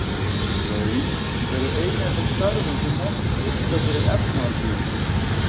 Laun eru ein af þeim stærðum sem mestu skipta fyrir efnahagslífið.